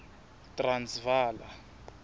transvala